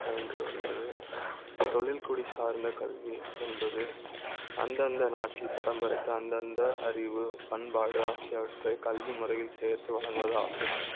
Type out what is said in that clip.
பயன்படுகிறது தொழில் குடி சார்ந்த கல்வி என்பது அந்தந்த நாட்டில் பரம்பரை க்கு அந்த அந்த அறிவு, பண்பாடு ஆகியவற்றை கல்விமுறை யில் சேர்த்து வழங்குவதாகும்